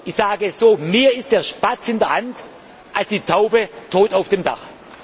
Ich sage es so Mehr ist der Spatz in der Hand als die Taube tot auf dem Dach.